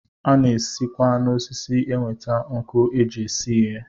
A na-esikwa n'osisi enweta nkụ e ji esi ihe